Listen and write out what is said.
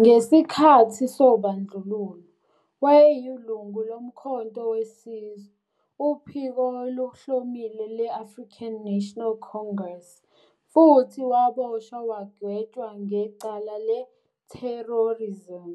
Ngesikhathi sobandlululo wayeyilungu loMkhonto weSizwe, uphiko oluhlomile le-African National Congress, futhi waboshwa wagwetshwa ngecala le-terrorism